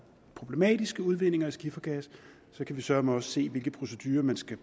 problematiske udvindinger af skifergas kan vi søreme også se hvilke procedurer man skal